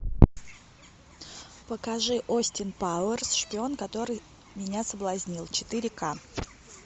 покажи остин пауэрс шпион который меня соблазнил четыре ка